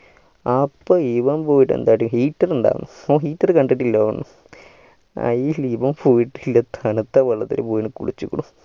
അപ്പൻ ഇവാൻ പോയിട്ട് എന്താക്കി heater ഇണ്ടായിരുന്നു ഓന് heater കണ്ടിട്ടില്ലായിരുന്നു ആയിൽ ഇവാൻ പോയിട്ട് ഇല്ലേ തണുത്ത വെള്ളത്തിൽ പോയി കുളിച്ചുകുണ്